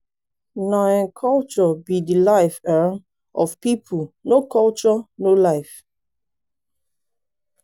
na um culture be de life um of people no culture no life.